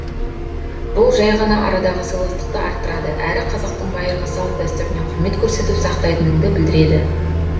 бұл жай ғана арадағы сыйластықты арттырады әрі қазақтың байырғы салт дәстүріне құрмет көрсетіп сақтайтыныңды білдіреді